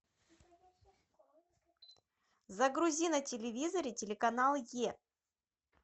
загрузи на телевизоре телеканал е